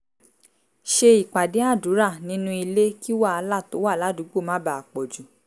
ṣe ìpàdé àdúrà nínú ilé kí wàhálà tó wà ládùúgbò má bàa pọ̀ jù